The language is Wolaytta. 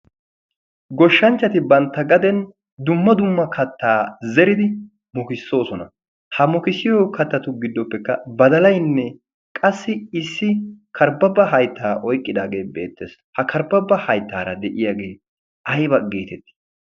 goshshanchchati bantta gaden dumma dumma kattaa zeridi mokissoosona ha mokissiyo kattatu giddoppekka badalaynne qassi issi karbbabba hayttaa oyqqidaagee beetteesi ha karbbabba hayttaara de'iyaagee ayba geetettii